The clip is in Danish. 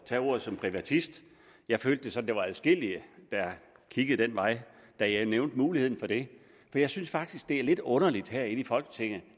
tage ordet som privatist jeg følte det som om der var adskillige der kiggede den vej da jeg nævnte muligheden for det jeg synes faktisk det er lidt underligt herinde i folketinget